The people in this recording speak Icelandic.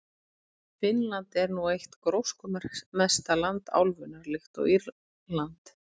Finnland er nú eitt gróskumesta land álfunnar, líkt og Írland.